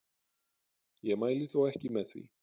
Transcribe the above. Ég mæli þó ekki með því.